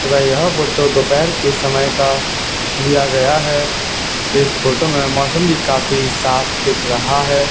तथा यह फोटो दोपहर के समय का लिया गया है इस फोटो में मौसम भी काफी साफ दिख रहा है।